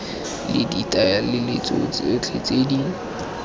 le ditlaleletso tsotlhe tse di